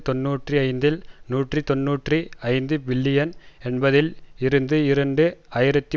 தொன்னூற்றி ஐந்தில் நூற்றி தொன்னூற்றி ஐந்து பில்லியன் என்பதில் இருந்து இரண்டு ஆயிரத்தி